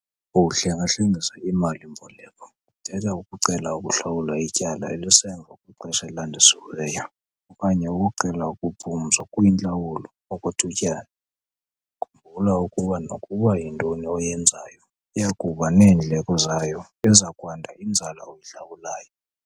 Ukuhlenga-hlengisa iimali-mboleko kuthetha ukucela ukuhlawula ityala elisemva kwixesha elandisiweyo, okanye ukucela ukuphumzwa kwiintlawulo okwethutyana. Khumbula ukuba nokuba yintoni oyenzayo iya kuba neendleko zayo - iza kwanda inzala oyihlawulayo.